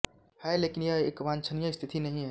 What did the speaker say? हैं लेकिन यह एक वांछनीय स्थिति नहीं है